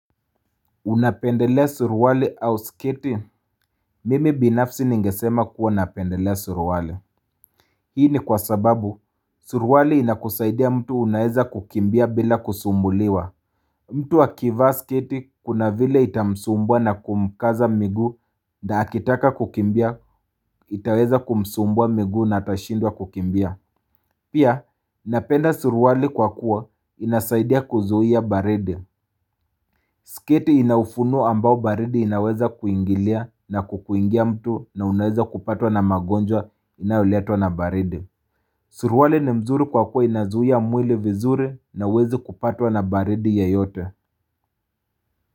Unapendelea suruwali au sketi, mimi binafsi ningesema kuwa napendelea suruwali. Hii ni kwa sababu, suruwali inakusaidia mtu unaeza kukimbia bila kusumbuliwa. Mtu akivaa sketi kuna vile itamsumbwa na kumkaza miguu na akitaka kukimbia, itaweza kumsumbwa miguu na atashindwa kukimbia. Pia, napenda suruwali kwa kuwa inasaidia kuzuia baridi. Sketi inaufunuo ambao baridi inaweza kuingilia na kukuingia mtu na unaweza kupatwa na magonjwa inayoletwa na baridi. Suruali ni mzuri kwa kuwa inazuia mwili vizuri na huwezi kupatwa na baridi ye yote.